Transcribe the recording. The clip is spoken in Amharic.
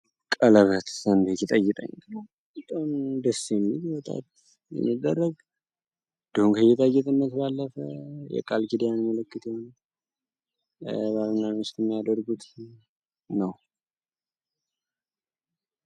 ቀለበት አንዱ ሲጠይቀኝ በጣም ደስ የሚል በጣት የሚደረግ ጌጣጌጥነት ባላት የቃልኪዳን ምልክት ባል እና ሚስት እሚያደርጉት ነዉ።